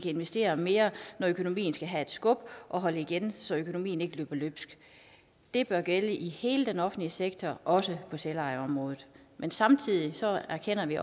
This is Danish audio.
investere mere når økonomien skal have et skub og holde igen når økonomien ikke skal løbe løbsk det bør gælde i hele den offentlige sektor også på selvejeområdet men samtidig erkender vi